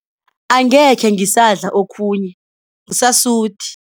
Angekhe ngisadla okhunye ngisasuthi.